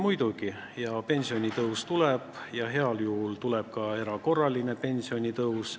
Muidugi hoolime: pensionitõus tuleb ja heal juhul tuleb ka erakorraline pensionitõus.